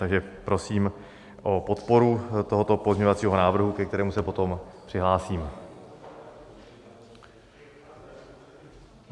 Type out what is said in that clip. Takže prosím o podporu tohoto pozměňovacího návrhu, ke kterému se potom přihlásím.